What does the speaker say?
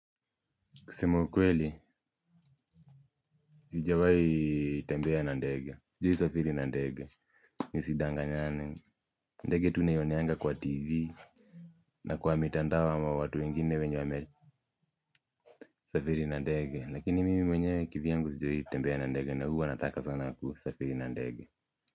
Kusema ukweli, sijawahi tembea na ndege, sijawahi safiri na ndege, nisidanganyane, ndege tu naioneanga kwa TV, na kwa mitandao ama watu wengine wenye wamele, safiri na ndege, lakini mimi mwenye kivyangu sijawahi tembea na ndege, na huwa nataka sana kusafiri na ndege.